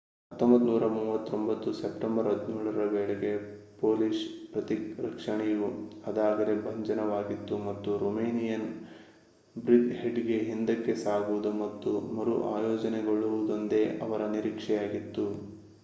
1939 September 17 ರ ವೇಳೆಗೆ Polish ಪ್ರತಿರಕ್ಷಣೆಯು ಅದಾಗಲೇ ಭಂಜನವಾಗಿತ್ತು ಮತ್ತು ರೊಮೇನಿಯನ್‌ ಬ್ರಿಜ್‌ಹೆಡ್‌ಗೆ ಹಿಂದಕ್ಕೆ ಸಾಗುವುದು ಮತ್ತು ಮರು ಆಯೋಜನೆಗೊಳ್ಳುವುದೊಂದೇ ಅವರ ನಿರೀಕ್ಷೆಯಾಗಿತ್ತು